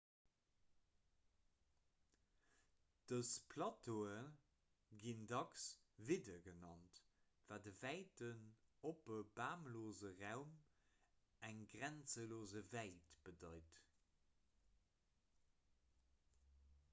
dës plateaue ginn dacks vidde genannt wat e wäiten oppe bamlose raum eng grenzelos wäit bedeit